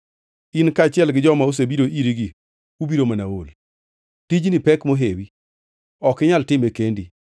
In kaachiel gi joma osebiro irigi ubiro mana ool. Tijni pek mohewi; ok inyal time kendi.